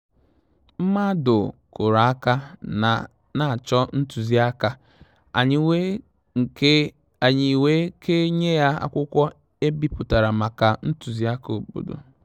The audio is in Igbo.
Mmàdụ̀ kụ́rụ̀ áká n’á chọ́ ntùzìáká, ànyị́ wèé ké nyé yá ákwụ́kwọ́ èbípụ̀tàrà màkà ntùzìáká òbòdò.